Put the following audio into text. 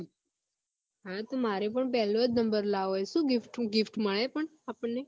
મારે પણ પેલો number જ લાવો શું gift મળે પણ આપણને